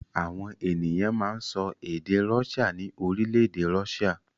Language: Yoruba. Àwọn ènìyàn máa ń sọ èdè Russia ní orílẹ̀-èdè Russia.